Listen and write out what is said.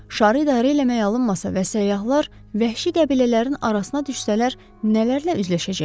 Şarı idarə eləmək alınmasa və səyyahlar vəhşi qəbilələrin arasına düşsələr, nələrlə üzləşəcəklər?